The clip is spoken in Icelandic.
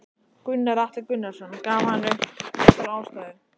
Gunnar Atli Gunnarsson: Gaf hann upp einhverja ástæðu?